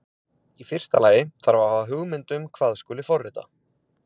Í fyrsta lagi þarf að hafa hugmynd um hvað skuli forrita.